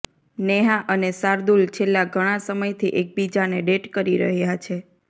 નેહા અને શાર્દુલ છેલ્લા ઘણા સમયથી એકબીજાને ડેટ કરી રહ્યા છે